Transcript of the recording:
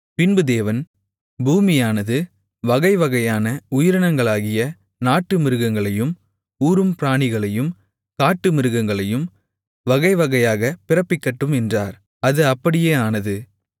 பின்பு தேவன் பூமியானது வகைவகையான உயிரினங்களாகிய நாட்டுமிருகங்களையும் ஊரும் பிராணிகளையும் காட்டுமிருகங்களையும் வகைவகையாகப் பிறப்பிக்கட்டும் என்றார் அது அப்படியே ஆனது